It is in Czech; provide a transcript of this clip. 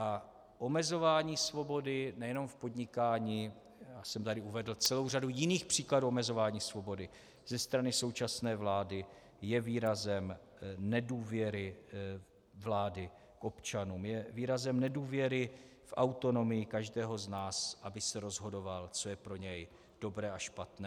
A omezování svobody nejenom v podnikání - já jsem tady uvedl celou řadu jiných příkladů omezování svobody - ze strany současné vlády je výrazem nedůvěry vlády k občanům, je výrazem nedůvěry k autonomii každého z nás, aby se rozhodoval, co je pro něj dobré a špatné.